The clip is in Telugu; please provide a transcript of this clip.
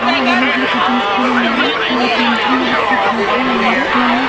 ఎవరి మంచం వాళ్లకి సెపెరేటేగా ఉంది --